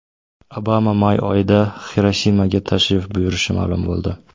Obama may oyida Xirosimaga tashrif buyurishi ma’lum bo‘ldi.